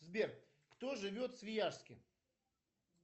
сбер кто живет в свияжске